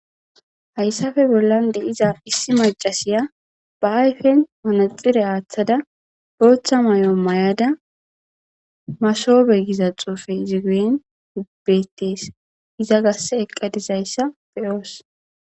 Hayssafe bollan de iza issi macasiya ba ayfen manaxire aaththada booththa may7o may7ada masoobe giza xoufe izigeyen ubbeettees iza garse eqqadizayssa beyoos.